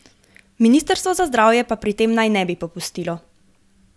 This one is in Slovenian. Ministrstvo za zdravje pa pri tem naj ne bi popustilo.